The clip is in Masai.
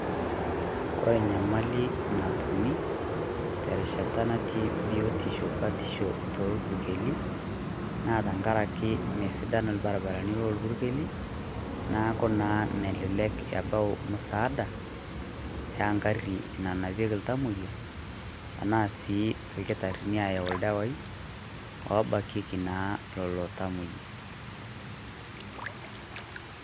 Kore enyamali natumii terishata natii biotisho batisho too purkeli naa tenkaraki mme sidan ilbarabarani loo purkeli neeku naa metumi msaada egarri nanapieki iltamoyia tenaa sii ilkitarrini aayau ildawaii loobakieki naa lelo tamoyia.